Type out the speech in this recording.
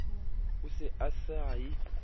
a se a sa ye